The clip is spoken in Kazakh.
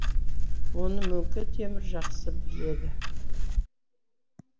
оны мөңке темір жақсы біледі